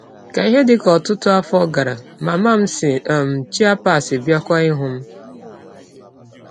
Ka ihe dị ka ọtụ ọtụ afọ gara, mama m si um Chiapas bịakwa ịhụ m.